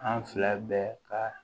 An fila bɛɛ ka